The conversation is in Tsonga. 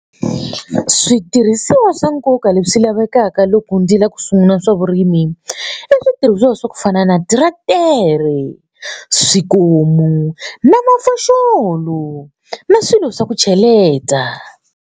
Switirhisiwa swa nkoka leswi lavekaka loko ndzi lava ku sungula swa vurimi i switirhisiwa swa ku fana na tractor swikomu na mafoxolo na swilo swa ku cheleta.